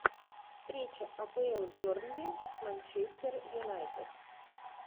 встреча апл бернли с манчестер юнайтед